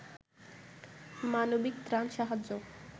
মানবিক ত্রাণ সাহায্য